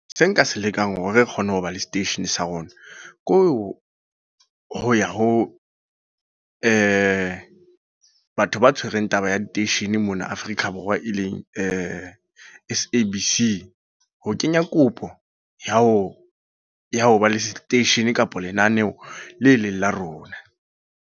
Se nka se lekang hore re kgone ho ba le seteishene sa rona. Ke ho ya ho batho ba tshwereng taba ya diteishene mona Afrika Borwa e leng S_A_B_C. Ho kenya kopo ya ho ya ho ba le station kapa lenaneho le eleng la rona.